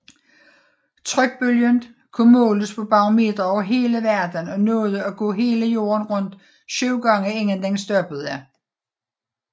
Trykbølgen kunne måles på barometre over hele verden og nåede at gå hele Jorden rundt syv gange inden den stoppede